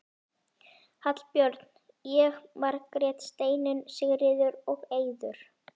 Hallbjörn, ég, Margrét, Steinunn, Sigríður og Eiður.